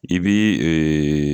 I bɛ ɛɛ